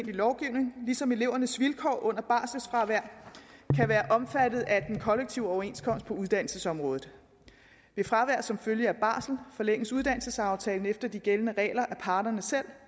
lovgivning ligesom elevernes vilkår under barselfravær kan være omfattet af den kollektive overenskomst på uddannelsesområdet ved fravær som følge af barsel forlænges uddannelsesaftalen efter de gældende regler af parterne selv